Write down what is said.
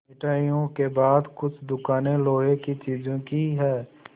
मिठाइयों के बाद कुछ दुकानें लोहे की चीज़ों की हैं